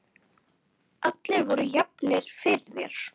Allir voru jafnir fyrir þér.